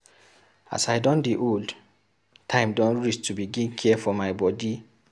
As I don dey old, time don reach to begin care for my bodi.